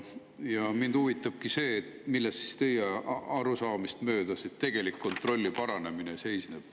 Ja mind huvitabki see, milles siis teie arusaamist mööda see tegelik kontrolli paranemine seisneb.